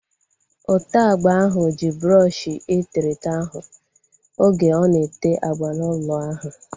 Ote agba ahu ji brọọshi eterete ahu oge ọ na-ete agba n'ụlọ ahu